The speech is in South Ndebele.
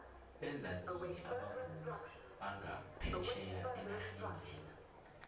beza nini abavumi banga phetjheya enaxheni lena